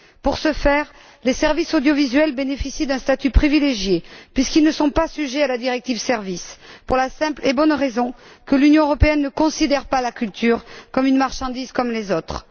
Dans ce contexte, les services audiovisuels bénéficient d'un statut privilégié puisqu'ils ne sont pas soumis à la directive sur les services pour la simple et bonne raison que l'Union européenne ne considère pas la culture comme une marchandise comme les autres.